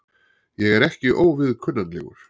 Ég er ekki óviðkunnanlegur.